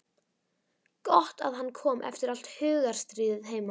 Gott að hann kom eftir allt hugarstríðið heima.